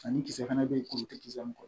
Ani kisɛ fana bɛ yen kuru tɛ kisɛ min kɔ